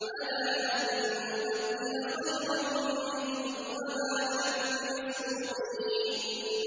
عَلَىٰ أَن نُّبَدِّلَ خَيْرًا مِّنْهُمْ وَمَا نَحْنُ بِمَسْبُوقِينَ